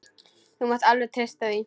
Þú mátt alveg treysta því.